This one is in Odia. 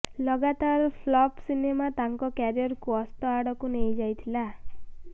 ଲଗାତାର ଫ୍ଲଫ୍ ସିନେମା ତାଙ୍କ କ୍ୟାରିୟାରକୁ ଅସ୍ତ ଆଡକୁ ନେଇଯାଇଥିଲା